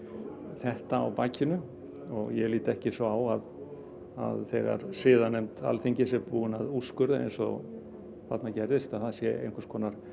þetta á bakinu og ég lít ekki svo á að þegar siðanefnd Alþingis er búin að úrskurða eins og þarna gerðist að það sé einhvers konar